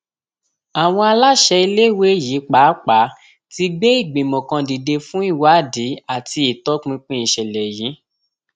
àwọn aláṣẹ iléèwé yìí pàápàá ti gbé ìgbìmọ kan dìde fún ìwádìí àti ìtọpinpin ìṣẹlẹ yìí